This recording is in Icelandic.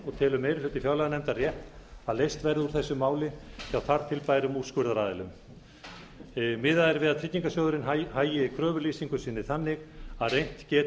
telur meiri hluti fjárlaganefndar rétt að leyst verði úr þessu máli hjá þar til bærum úrskurðaraðilum miðað er við að tryggingarsjóðurinn hagi kröfulýsingu sinni þannig að reynt geti á